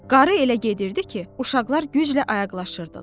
Qarı elə gedirdi ki, uşaqlar güclə ayaqlaşırdılar.